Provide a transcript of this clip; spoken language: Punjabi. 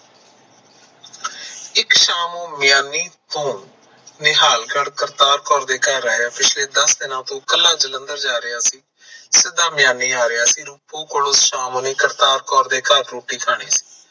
ਇਕ ਸ਼ਾਮ ਨੂੰ ਮਿਆਣੀ ਤੋਂ ਨਿਹਾਲਗੜ੍ਹ ਕਾਰਤਾਰਕੌਰ ਦੇ ਕਰ ਆਏ ਪਿੱਛਲੇ ਸਿੱਧਾ ਦਸ ਦੀਨਾ ਤੋਂ ਕਲਾਂ ਜਲੰਧਰ ਜਾ ਰਿਹਾ ਸੀ ਸਿੱਧਾ ਮਿਆਣੀ ਆ ਰਿਹਾ ਸੀ ਰੁਫੂ ਕੋਲ ਸ਼ਾਮ ਓਨੇ ਕਾਰਤਾਰਕੌਰ ਦੇ ਘਰ ਓਨੇ ਰੋਟੀ ਖਾਣੀ ਸੀ